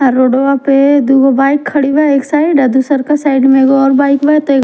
आ रोडवा पे दुगो बाइक खड़ी बा एक साइड आ दुसरका साइड में एगो और बाइक बा ते।